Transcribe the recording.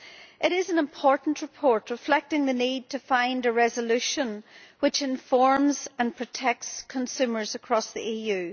It is an important report, reflecting the need to find a resolution which informs and protects consumers across the EU.